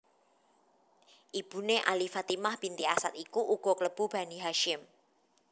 Ibuné Ali Fatimah binti Asad iku uga klebu Bani Hasyim